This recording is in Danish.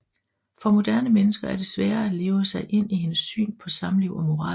For moderne mennesker er det sværere at leve sig ind i hendes syn på samliv og moral